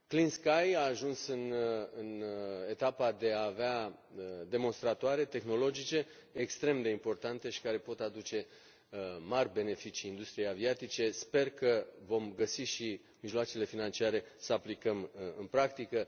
Clean Sky a ajuns în etapa de a avea demonstratoare tehnologice extrem de importante și care pot aduce mari beneficii industriei aviatice, sper că vom găsi și mijloacele financiare să aplicăm în practică.